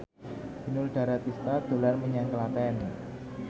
Inul Daratista dolan menyang Klaten